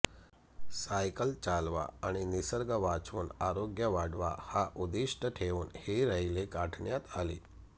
cycle चालवा आणि निसर्ग वाचवून आरोग्य वाढवा हा उदिष्ठ ठेवून हि रैली काढण्यात आली